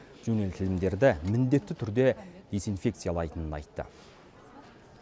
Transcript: жөнелтілімдерді міндетті түрде дезинфекциялайтынын айтты